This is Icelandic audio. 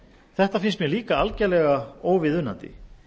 þetta finnst mér líka algerlega óviðunandi